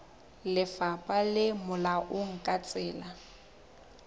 lefapha le molaong ka tsela